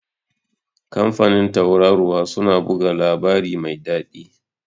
kamfanin Tauraruwa suna buga labari mai dadi